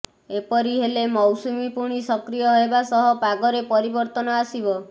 ଏପରି ହେଲେ ମୌସୁମୀ ପୁଣି ସକ୍ରିୟ ହେବା ସହ ପାଗରେ ପରିବର୍ତ୍ତନ ଆସିବ